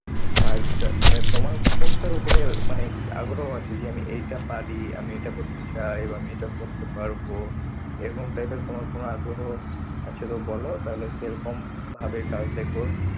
কাজটা মানে তোমার কোনটার উপরে মানে কি আগ্রহ আছে যে আমি এইটা পারি। আমি এটা করতে চাই বা আমি এটা করতে পারবো, এরকম type এর তোমার কোনো আগ্রহ আছে তো বলো তাহলে সেরকম ভাবে কাজ দেখবো।